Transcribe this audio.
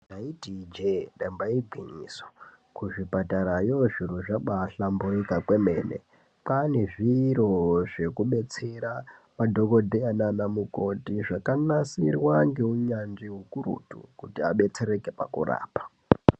Ndaiiti ijee damba igwinyiso kuzvipatarayo zviro zvabahlambuyuka kwemene kwaane zviro zvekudetsera madhokodheya nanamukoti zvakanasirwa ngeunyanzvi ukurutu kuti adetsereke pakurapa .